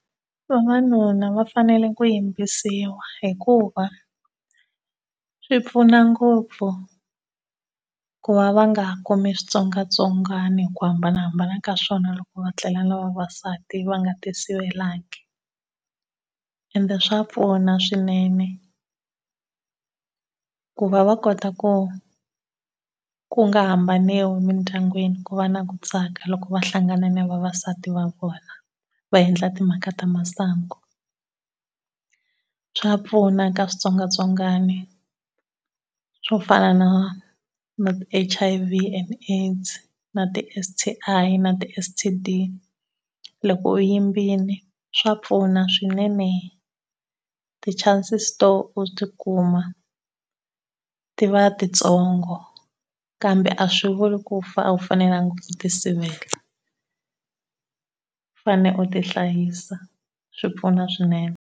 Vavanuna va fanele ku yimbisiwa hikuva swi pfuna ngopfu ku va va nga kumi switsongwatsongwana hi ku hambana ka swona loko va tlela na vavasati va nga ti sivelanga. Ende swa pfuna swinene ku va va kota ku ku nga hambaniwi mindyangwini ku va na ku tsaka loko va hlangana na vavasati va vona va endla timhaka ta masangu. Swa pfuna eka switsongwatsongwana swo fana na na H_I_V and AIDS na ti S_T_I na ti S_T_D. Loko u yimbile swa pfuna swinene, ti chances to u ti kuma ti va titsongo kamba a swi vuli ku a wu fanelanga ku ti sivela. Fane u ti hlayisa, swi pfuna swinene.